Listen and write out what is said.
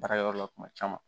Baara yɔrɔ la kuma caman